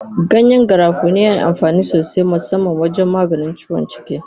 Ganyen garafuni yana amfani sosai musamman wajen maganin ciwon ciki.